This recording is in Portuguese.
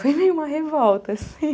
Foi meio uma revolta, assim.